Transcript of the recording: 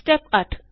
step 8